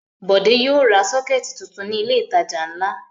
Bọ̀dé yóò ra sọ́kẹ́tì tuntun ní ilé-ìtajà ńlá.